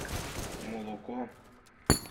молоко